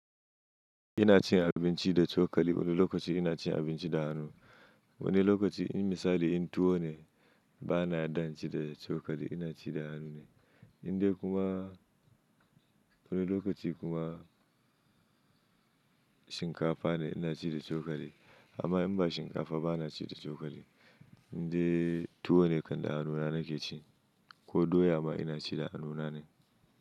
Ina cin abinci da cokali wani lokaci ina cin abinci da hannu. Wani lokaci in misali in tuwo ne bana dan cin da cokali ina ci da hannu ne. Indai kuma wani lokaci kuma shinkafa ne ina ci da cokali amma in ba shinkafa bana ci da cokali. Indai tuwo ne kanda hannuna nake ci ko doya ma ina ci da hannuna ne.